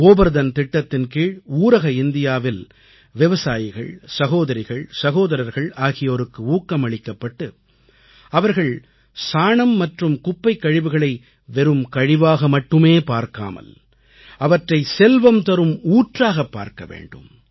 கோபர்தன் திட்டத்தின் கீழ் ஊரக இந்தியாவில் விவசாயிகள் சகோதரிகள் சகோதர்கள் ஆகியோருக்கு ஊக்கமளிக்கப்பட்டு அவர்கள் சாணம் மற்றும் குப்பைக்கழிவுகளை வெறும் கழிவாக மட்டுமே பார்க்காமல் அவற்றை செல்வம் தரும் ஊற்றாகப் பார்க்க வேண்டும்